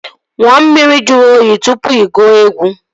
Ṅụọ mmiri juru oyi tụpụ ị gụọ egwu